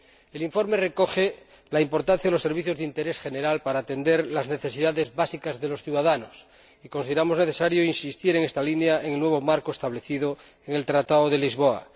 El informe recoge la importancia de los servicios de interés general para atender las necesidades básicas de los ciudadanos, y consideramos necesario insistir en esta línea en el nuevo marco establecido en el Tratado de Lisboa.